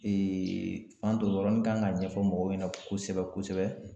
Fanto nin yɔrɔni kan ka ɲɛfɔ mɔgɔw ɲɛna kosɛbɛ kosɛbɛ.